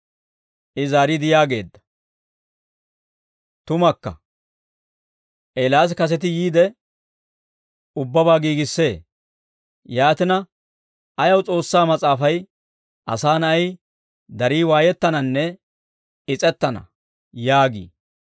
I zaariide yaageedda; «Tumakka, Eelaas kaseti yiide, ubbabaa giigissee; yaatina, ayaw S'oossaa Mas'aafay, ‹Asaa Na'ay darii waayettananne is's'ettana› yaagii?